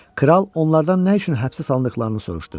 Kral onlardan nə üçün həbsə salındıqlarını soruşdu.